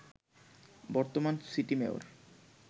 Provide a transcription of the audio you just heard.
বর্তমান city mayor